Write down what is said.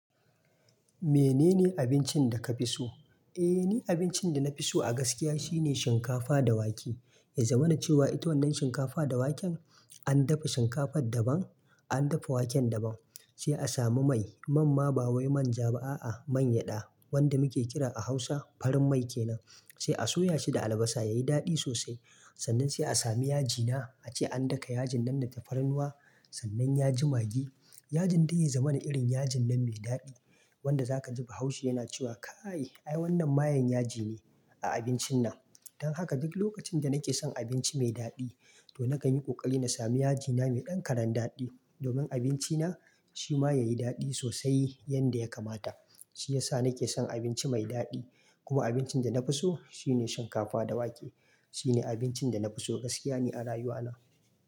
Menene abincin da ka fi so? Eh ni abincin da nafi so a gaskiya shine shinkafa da wake. Ya zamana cewa ita wannan shinkafa da waken an dafa shinkafar daban, an dafa waken daban. Sai a samu mai. Man ma ba wai manja ba a'a, mangyaɗa wanda muke kira a Hausa farin mai kenan. Sai a soya shi da albasa yayi daɗi sosai. Sannan sai a samu yaji na. Ace an daka yajin nan da tafarnuwa sannan ya ji maggi. Yajin dai ya zamana irin yajin nan mai daɗi wanda zaka ji bahaushe yana cewa kai, ai wannan mayen yaji ne a abincin nan. Don haka duk lokacin da nake son abinci mai daɗi to na kan yi ƙoƙari na sami yaji na mai ɗan karan daɗi domin abinci na shi ma yayi daɗi sosai yanda ya kamata. Shiyasa nake son abinci mai daɗi. Kuma abincin da na fi so shine shinkafa da wake. Shine abincin da na fi so gaskiya ne a rayuwa na.